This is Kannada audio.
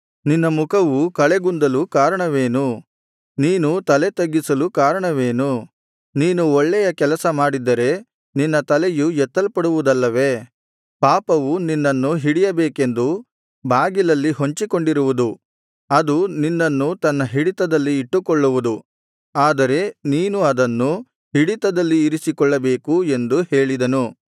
ನಿನ್ನ ಮುಖವು ಕಳೆಗುಂದಲು ಕಾರಣವೇನು ನೀನು ತಲೆ ತಗ್ಗಿಸಲು ಕಾರಣವೇನು ನೀನು ಒಳ್ಳೆಯ ಕೆಲಸ ಮಾಡಿದ್ದರೆ ನಿನ್ನ ತಲೆಯು ಎತ್ತಲ್ಪಡುವುದಲ್ಲವೇ ಪಾಪವು ನಿನ್ನನ್ನು ಹಿಡಿಯಬೇಕೆಂದು ಬಾಗಿಲಲ್ಲಿ ಹೊಂಚಿಕೊಂಡಿರುವುದು ಅದು ನಿನ್ನನ್ನು ತನ್ನ ಹಿಡಿತದಲ್ಲಿ ಇಟ್ಟುಕೊಳ್ಳುವುದು ಆದರೆ ನೀನು ಅದನ್ನು ಹಿಡಿತದಲ್ಲಿ ಇರಿಸಿಕೊಳ್ಳಬೇಕು ಎಂದು ಹೇಳಿದನು